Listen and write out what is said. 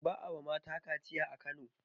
ba a yi wa mata kaciya a Kano